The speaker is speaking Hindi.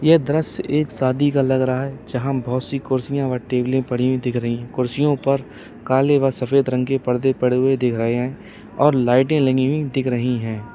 यह दृश्य एक शादी का लग रहा है जहां बोहोत सी कुर्सियां व टेबले पड़ी हुई दिख रही है। कुर्सियों पर काले व सफेद रंग के पर्दे पड़े हुए दिख रहे हैं और लाइटें लगी हुई दिख रही है।